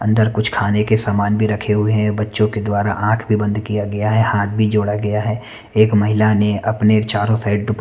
अन्दर कुछ खाने के समान भी रखे हुए है बच्चो के द्वारा आँख भी बंद किया गया है हाथ भी जोड़ा गया है एक महिला ने अपने चारो साइड दुप--